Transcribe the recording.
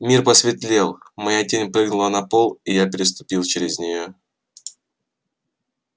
мир посветлел моя тень прыгнула на пол и я переступил через нее